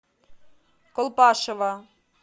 колпашево